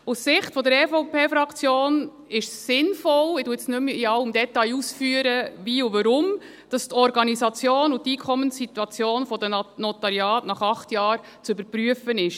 Aus Sicht der EVP-Fraktion ist es sinnvoll – wie und weshalb führe ich nun nicht mehr in allen Details aus –, dass die Organisation und die Einkommenssituation der Notariate nach acht Jahren zu überprüfen sind.